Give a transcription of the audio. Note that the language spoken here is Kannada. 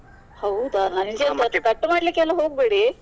ಹೌದಾ ನಂಜ ಮತ್ತೆ cut ಮಾಡ್ಲಿಕ್ಕೆ ಎಲ್ಲ ಹೋಗ್ಬೇಡಿ.